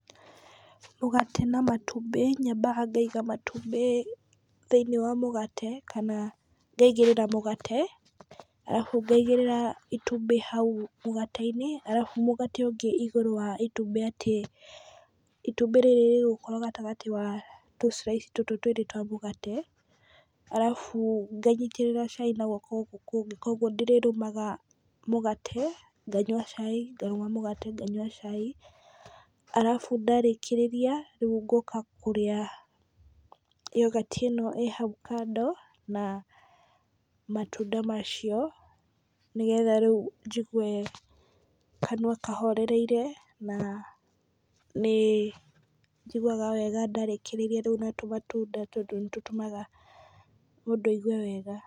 Mũgate na matumbĩ, nyambaga ngaiga matumbĩ thĩiniĩ wa mũgate , kana ngaigĩrĩra mũgate arabu ngaigĩrĩra itumbĩ hau mũgate-inĩ, arabu mũgate ũngĩ igũrũ wa itumbĩ, atĩ itumbĩ rĩrĩ rĩgũkorwo gatagatĩ wa tũ slice tũtũ twĩrĩ twa mũgate, arabu nganyitĩrĩra cai na gwoko gũkũ kũngĩ , kũgwo ndĩrĩrũmaga mũgate , nganyua cai, ngarũma mũgate nganyua cai, arabu ndarĩkĩrĩria ngoka kũrĩa Yogati ĩno ĩ hau kando, na matunda macio, nĩgetha rĩu njigwe kanua kahorereire, na nĩ njiguaga wega ndarĩkĩrĩria rĩu na tũmatunda tondũ nĩ tũtũmaga mũndũ aigwe wega.